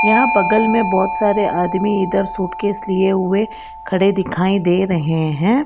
यहां बगल में बहुत सारे आदमी इधर शूट केश लिए हुए खड़े दिखाई दे रहे हैं।